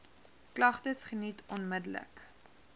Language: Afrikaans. klagtes geniet onmiddellik